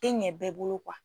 Tɛ ɲɛ bɛɛ bolo